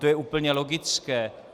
To je úplně logické.